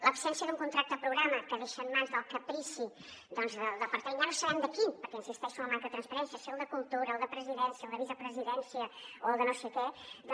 l’absència d’un contracte programa que deixa en mans del caprici del departament ja no sabem de quin perquè insisteixo en la manca de transparència si el de cultura el de la presidència el de la vicepresidència o el de no sé què